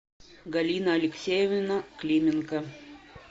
галина алексеевна клименко